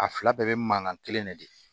A fila bɛɛ bɛ mankan kelen de di